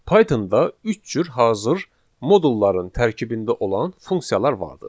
Pythonda üç cür hazır modulların tərkibində olan funksiyalar vardır.